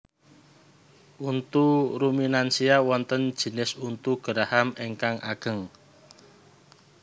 Untu ruminansia wonten jinis untu geraham ingkang ageng